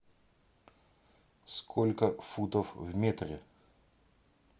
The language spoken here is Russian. сколько футов в метре